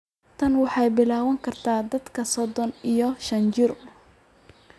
Tani waxay bilaabmi kartaa da'da sodon iyo shan jir.